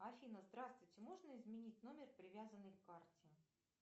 афина здравствуйте можно изменить номер привязанный к карте